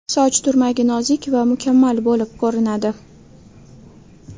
Soch turmagi nozik va mukammal bo‘lib ko‘rinadi.